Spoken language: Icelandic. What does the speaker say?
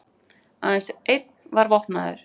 Aðeins einn var vopnaður